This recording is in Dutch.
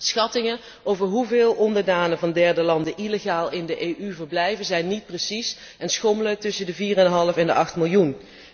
Schattingen over hoeveel onderdanen van derde landen illegaal in de Europese Unie verblijven, zijn niet precies en schommelen tussen de 4,5 en 8 miljoen.